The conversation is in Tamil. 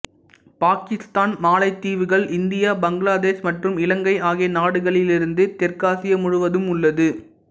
பாக்கிஸ்தான் மாலைதீவுகள் இந்தியா பங்களாதேஷ் மற்றும் இலங்கை ஆகிய நாடுகளிலிருந்து தெற்காசியா முழுவதும் உள்ளது